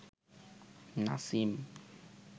Nasim